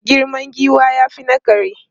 Girman giwa ya fi na kare.